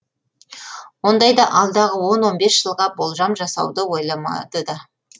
ондайда алдағы он он бес жылға болжам жасауды ойламады да